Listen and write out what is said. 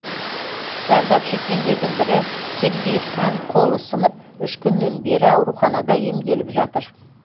зардап шеккендердің бірі сергей хан қолы сынып үш күннен бері ауруханада емделіп жатыр